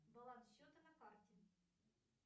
баланс счета на карте